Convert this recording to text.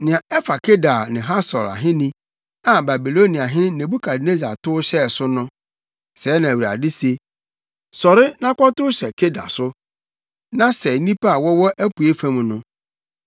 Nea ɛfa Kedar ne Hasor ahenni, a Babiloniahene Nebukadnessar tow hyɛɛ so no. Sɛɛ na Awurade se: “Sɔre na kɔtow hyɛ Kedar so na sɛe nnipa a wɔwɔ apuei fam no.